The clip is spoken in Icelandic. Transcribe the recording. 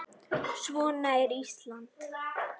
Svona er Ísland.